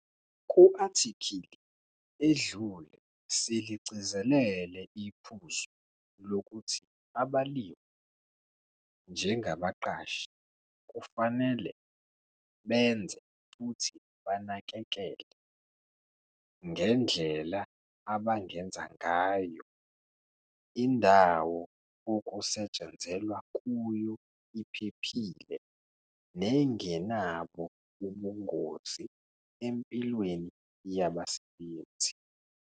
Ku-athikhili edlule siligcizelele iphuzu lokuthi abalimi njengabaqashi kufanele benze futhi banakekele, ngendlela abangenza ngayo, indawo okusetshenzelwa kuyo iphephile nengenabo ubungozi empilweni yabasebenzi.